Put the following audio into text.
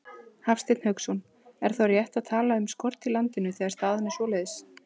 Hafsteinn Hauksson: Er þá rétt að tala um skort í landinu, þegar staðan er svoleiðis?